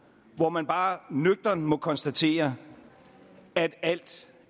hvor man bare nøgternt må konstatere at alt